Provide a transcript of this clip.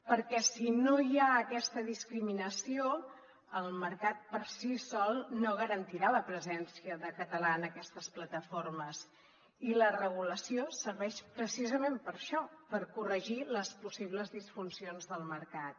perquè si no hi ha aquesta discriminació el mercat per si sol no garantirà la pre·sència de català en aquestes plataformes i la regulació serveix precisament per a això per corregir les possibles disfuncions del mercat